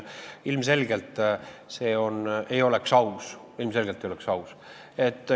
Ilmselgelt ei oleks see aus, ilmselgelt ei oleks aus.